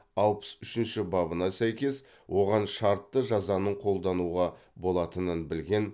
алпыс үшінші бабына сәйкес оған шартты жазаның қолдануға болатынын білген